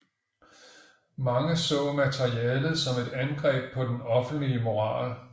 Mange så maleriet som et angreb på den offentlige moral